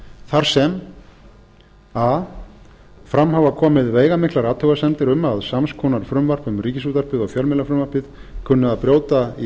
þar sem a fram hafa komið veigamiklar athugasemdir um að sams konar frumvarp um ríkisútvarpið og fjölmiðlafrumvarpið kunni að brjóta í